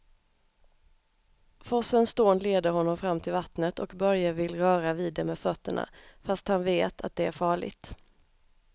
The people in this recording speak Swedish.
Forsens dån leder honom fram till vattnet och Börje vill röra vid det med fötterna, fast han vet att det är farligt.